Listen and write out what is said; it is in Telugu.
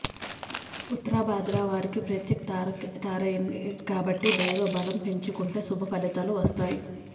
ఉత్తరాభాద్ర వారికి ప్రత్యక్ తారైంది కాబట్టి దైవ బలం పెంచుకుంటే శుభ ఫలితాలు వొస్తాయి